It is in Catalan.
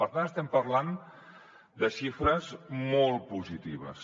per tant estem parlant de xifres molt positives